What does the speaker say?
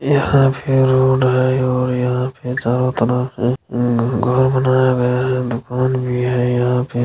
यहाँ पे रोड हैं और यहाँ पे चारों तरफ म -म-उ -उ घर बनाया गया हैं दुकान वि हैं यहाँ पे--